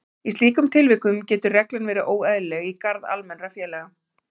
Í slíkum tilvikum getur reglan verið óeðlileg í garð almennra félaga.